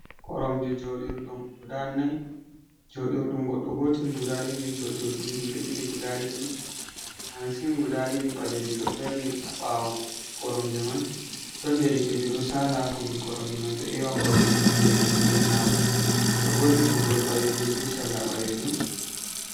Koromje jodirɗum guɗa nai. Joɗirɗum goɗɗo gotel guɗa ɗiɗi. Joɗirdlɗum himbe ɗiɗi guɗa ɗiɗ. Masin guɗa ɗiɗi baleji ɗo darni ha bawo koromje mai. Ɗon derekejo ɗo sala kombi koromje mai. Ɗo ewa koromje mai heɗi juɗi nyamo. oɗo borni toggowol baleljum be salla balejum.